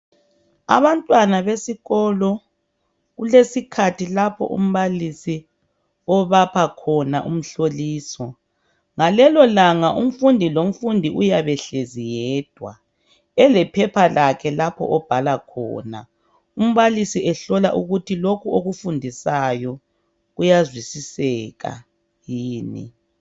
Abantwana besikolo kulesikhathi lapho umbalisi obapha khona umhloliso. Ngalelolanga umfundi lomfundi uyabe ehlezi yedwa elephepha lakhe lapho obhala khona. Umbalisi ehlola ukuthi lokhu okufundisayo kuyazwisiseka yini.